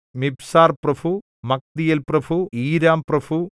മിബ്സാർപ്രഭു മഗ്ദീയേൽപ്രഭു ഈരാംപ്രഭു